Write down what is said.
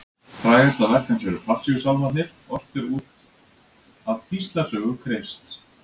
Frægasta verk hans eru Passíusálmarnir, ortir út af píslarsögu Krists.